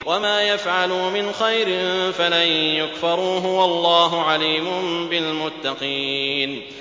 وَمَا يَفْعَلُوا مِنْ خَيْرٍ فَلَن يُكْفَرُوهُ ۗ وَاللَّهُ عَلِيمٌ بِالْمُتَّقِينَ